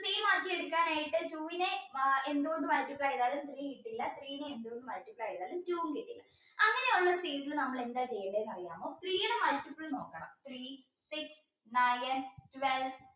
same ആക്കിയെടുക്കാൻ ആയിട്ട് two നെ എന്ത് കൊണ്ട് multiply ചെയ്താലും three കിട്ടില്ല three നെ എന്ത് കൊണ്ട് multiply ചെയ്താലും two കിട്ടില്ല അങ്ങനെയുള്ള stage ൽ നമ്മൾ എന്താ ചെയ്യേണ്ടേ അറിയാമോ three ടെ multiple നോക്കണം three six nine twelve